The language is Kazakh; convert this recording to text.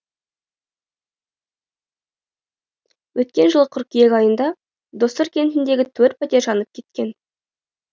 өткен жылы қыркүйек айында доссор кентіндегі төрт пәтер жанып кеткен